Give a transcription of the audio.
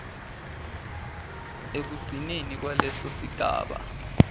ekugcineni kwaleso sigaba